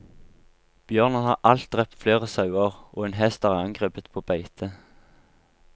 Bjørnen har halvt drept flere sauer, og en hest er angrepet på beite.